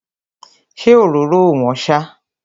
Ṣé òróró ò wọ́n ṣá?